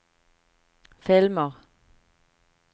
filmer